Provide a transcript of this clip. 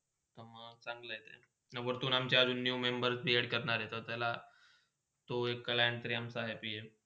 मंग चांगला! आणि वरता अमच्या new member create करणार हात. तर तो एक client तर अमा happy हाय.